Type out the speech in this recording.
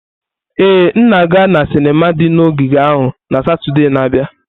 Ee, m ga-aga na sinima di na ogige ahụ na Satọde na-abịa.